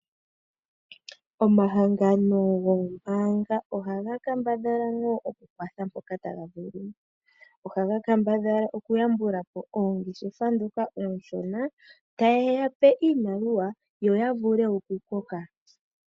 Omahangano goombaanga ohaga kambadhala ano okukwatha mpoka taga vulu. Ohaga kambadhala okuyambula po oongeshefa ndhoka oonshona taye yape iimaliwa yo ya vule okukoka.